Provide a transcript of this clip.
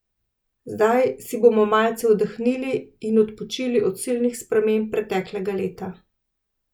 Zdaj si bomo malce oddahnili in odpočili od silnih sprememb preteklega leta.